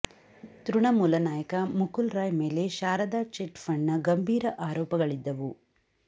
ತೃಣಮೂಲ ನಾಯಕ ಮುಕುಲ್ರಾಯ್ ಮೇಲೆ ಶಾರದಾ ಚಿಟ್ ಫಂಡ್ನ ಗಂಭೀರ ಆರೋಪಗಳಿದ್ದವು